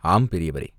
"ஆம், பெரியவரே!